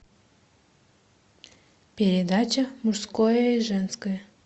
передача мужское и женское